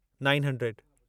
nine hundred